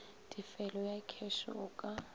tefelo ya kheše o ka